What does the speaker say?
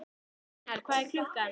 Reynar, hvað er klukkan?